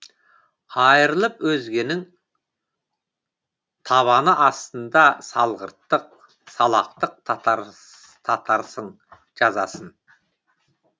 айырылып өзгенің табаны астында салғырттық салақтық татарсың жазасын